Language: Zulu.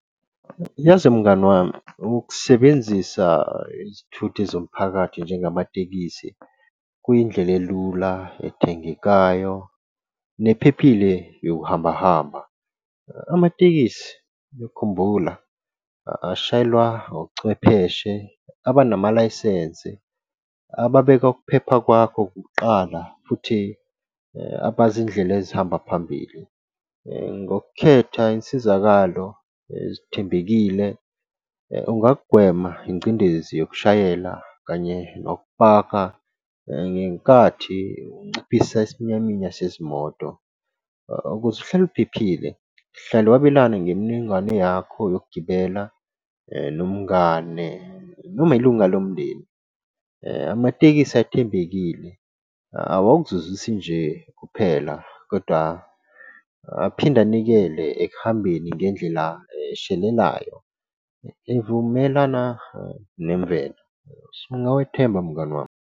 Yazi mngani wami ukusebenzisa izithuthi zomphakathi njengamatekisi kuyindlela elula ethembekayo nephephile yokuhambahamba. Amatekisi khumbula ashayelwa ochwepheshe abanamalayisensi ababeka ukuphepha kwakho kuqala futhi abazi indlela ezihamba phambili ngokukhetha insizakalo ezithembekile. Ungagwema ingcindezi yokushayela kanye nokupaka ngenkathi unciphisa isiminyaminya sezimoto. Ukuze uhlale uphephile hlale wabelana ngemininingwane yakho yokugibela nomngane noma ilunga lomndeni. Amatekisi ethembekile awawuzwizisi nje kuphela kodwa aphinde anikele ekuhambeni ngendlela eshelelayo, evumelana nemvelo so ungakethemba mngani wami.